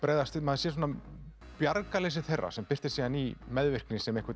maður sér þeirra sem birtist síðan í meðvirkni sem